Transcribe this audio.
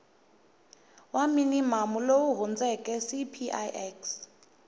wa minimamu lowu hundzeke cpix